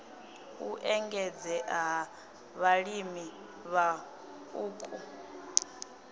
u engedzea ha vhalimi vhaṱuku